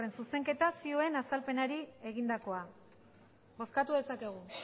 zuzenketa zioen azalpenari egindakoa bozkatu dezakegu